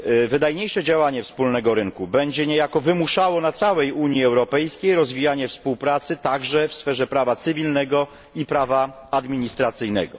Wydajniejsze działanie wspólnego rynku będzie niejako wymuszało na całej Unii Europejskiej rozwijanie współpracy także w sferze prawa cywilnego i prawa administracyjnego.